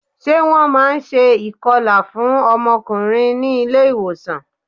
Ṣé wọn máa ń ṣe ìkọlà fún ọmọkùnrin ní ilé ìwòsàn?